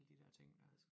Alle de der ting dér